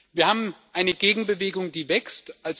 Wir haben eine Gegenbewegung, die wächst.